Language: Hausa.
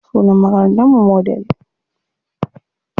Sunan makarantar mu Model.